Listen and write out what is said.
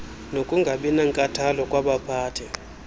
nokungabi nankathalo kwabaphathi